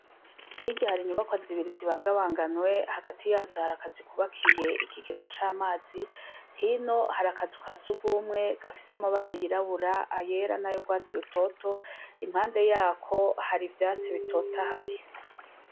Hirya hari inyubakwa zibiri bibangabanganywe, hagati yazo hari akazu kubakiye ikigega c' amazi, hino hari akazu ka surwumwe gafise amabara yirabura, ayera n' ay' urwatsi rutoto, impande yako hari ivyatsi bitotahaye.